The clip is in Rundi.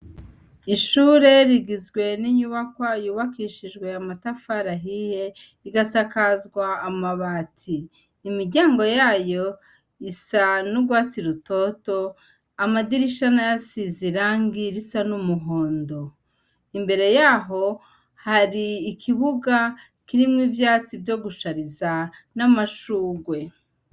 Ishure rigizwe n'inyubakoa yubakishijwe yamatafarahihe igasakazwa amabati imiryango yayo isa n'urwatsi rutoto amadirishana yasize irangi risa n'umuhondo imbere yaho hari ikibuga kirimwo ivyatsi vyo gushariza n'amashugwe.